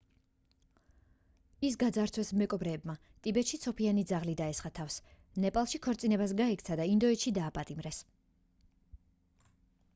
ის გაძარცვეს მეკობრეებმა ტიბეტში ცოფიანი ძაღლი დაესხა თავს ნეპალში ქორწინებას გაექცა და ინდოეთში დააპატიმრეს